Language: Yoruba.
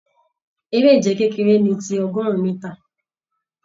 Eré ìje kekere ní tí ọgọrun mítà.